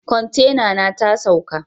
Kwantena na ta saukl.